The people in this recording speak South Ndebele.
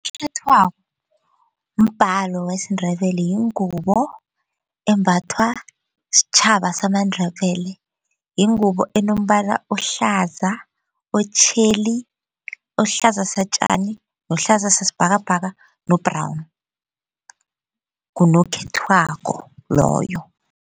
Unokhethwabo mbhalo wesiNdebele yingubo embathwa sitjhaba samaNdebele yingubo enombala ohlaza, otjheli ohlaza satjani, nohlaza sasibhakabhaka no-brown ngunokhethwako loyo.